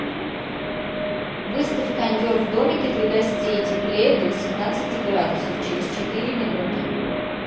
выставь кондер в домике для гостей теплее до восемнадцати градусов через четыре минуты